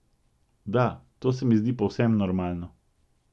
Da, to se mi zdi povsem normalno.